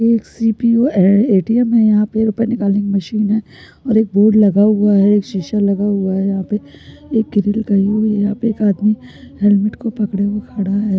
PO है ATM है यहाँ पर रुपये निकालने कि मशीन है और एक बोर्ड लगा हुआ है एक शीशा लगा हुआ है यहाँ पे एक आदमी हेलमेट को पकडे खड़ा है।